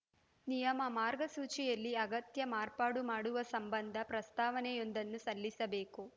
ನಿಯಮ ಮಾರ್ಗಸೂಚಿಯಲ್ಲಿ ಅಗತ್ಯ ಮಾರ್ಪಾಡು ಮಾಡುವ ಸಂಬಂಧ ಪ್ರಸ್ತಾವನೆಯೊಂದನ್ನು ಸಲ್ಲಿಸಬೇಕು